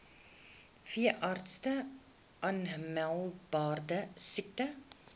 veeartse aanmeldbare siektes